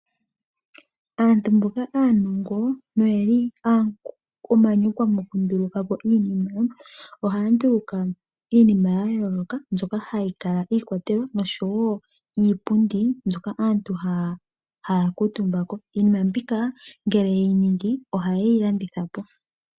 Aantu mboka aanongo noyeli omanyakwa mokundulukapo iinima, ohaya nduluka iinima yayooloka mbyoka hayikala iikwatelwa noshowo iipundi ndjoka aantu haya kuutumbako ,iinima mbika ngele yeyi ningi ohayeyi landithapo.